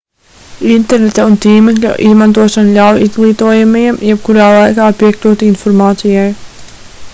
interneta un tīmekļa izmantošana ļauj izglītojamajiem jebkurā laikā piekļūt informācijai